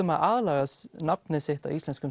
að aðlaga nafnið sitt að íslenskum